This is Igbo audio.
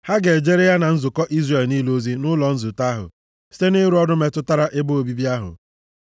Ha ga-ejere ya na nzukọ Izrel niile ozi nʼụlọ nzute ahụ site na ịrụ ọrụ metụtara ebe obibi ahụ.